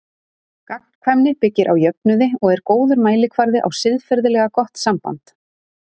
Gagnkvæmni byggir á jöfnuði og er góður mælikvarði á siðferðilega gott samband.